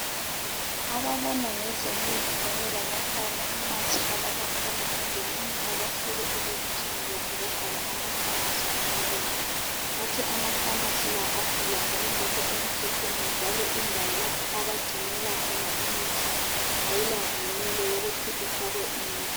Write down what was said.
Ababona ngezemithi kanye lama pharmacy abakahulumende namuhla bafike elokitshini lethu bavala ama pharmacy amabili bathi ama pharmacy la avulwa ngokungekho emthethweni njalo indawo lapho abagcinela khona imithi ayila mvunyelo yokuthi ifakwe imithi